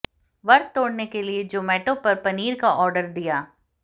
व्रत तोड़ने के लिए जोमैटो पर पनीर का आर्डर दिया